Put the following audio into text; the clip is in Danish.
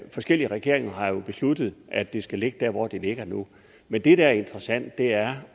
forskellige regeringer har jo besluttet at det skal ligge der hvor det ligger nu men det der er interessant er